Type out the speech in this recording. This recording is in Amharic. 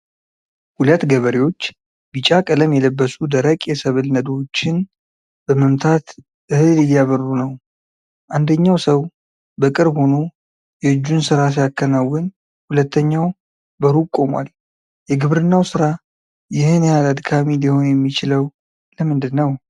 ሁለት ገበሬዎች ቢጫ ቀለም የለበሱ ደረቅ የሰብል ነዶዎችን በመምታት እህል እያበሩ ነው። አንደኛው ሰው በቅርብ ሆኖ የእጁን ሥራ ሲያከናውን፣ ሁለተኛው በሩቅ ቆሟል። የግብርናው ሥራ ይህን ያህል አድካሚ ሊሆን የሚችለው ለምንድን ነው?